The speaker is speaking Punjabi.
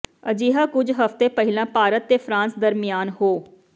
ਅਜਿਹਾ ਕੁਝ ਹਫ਼ਤੇ ਪਹਿਲਾਂ ਭਾਰਤ ਤੇ ਫਰਾਂਸ ਦਰਮਿਆਨ ਹੋ